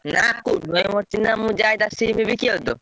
ନା କୁନୁ ଭାଇ ମୋର ଚିହ୍ନା ମୁଁ ଯାଏ ତା SIM ବିକିଆକୁ ତ।